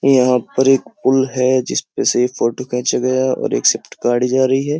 यहाँ पर एक पुल है जिसपे से यह एक फोटो खेंचा गया है और एक शिफ्ट गाड़ी जा रही है।